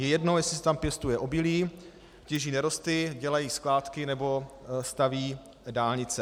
Je jedno, jestli se tam pěstuje obilí, těží nerosty, dělají skládky nebo stavějí dálnice.